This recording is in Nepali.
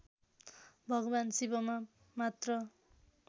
भगवान् शिवमा मात्र